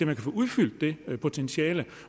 kan få udfyldt det potentiale